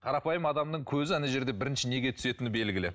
қарапайым адамның көзі ана жерде бірінші неге түсетіні белгілі